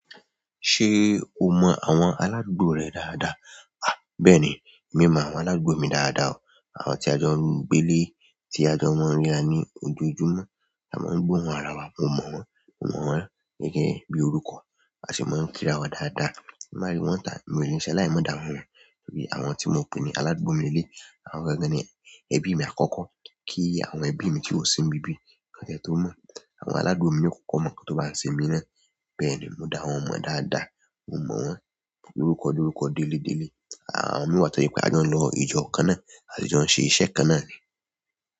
Ṣé o mọ àwọn aládùúgbò rẹ dáadáa? À, bẹ́ẹ̀ni, mi o mọ àwọn aládùúgbò mi dáadáa o. Àwọn tí a jọ ń gbé lé, tí a jọ maa n ríra ní ojoojúmọ́, a máa ń gbóhun ara wa. Mo mo won, mo mo won gẹ́gẹ́ bi orúkọ ta sin maa n kira wa daada ti n ba ri won ta mi o ni salayi ma da won mo nítorí àwọn tí mo pè ní aládùúgbò mi nilé, àwọn gangan ni ẹbí mi àkọ́kọ́. Kí í àwọn ẹbí mi tí ó sì ń bí bí. Kàn tie tó mọ̀. Àwọn aládùúgbò mi ni ó kọ́kọ́ mọ̀ nkan tó bá ṣe mi ná. Bẹ́ẹ̀ ni, mo dá wọ́n mọ̀ dáadáa. Mo mọ wọ́n lorúkọ lórúkọ, délé délé. Àwọn mì wá tọ̀je pé a jọ ń lọ ìjọ kan ná, a sì jọ ń ṣe iṣẹ́ kan ná ni.